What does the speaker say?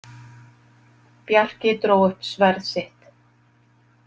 Bjarki dró upp sverð sitt.